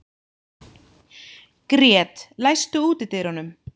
Grét, læstu útidyrunum.